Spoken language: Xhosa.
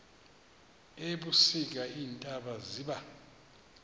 ebusika iintaba ziba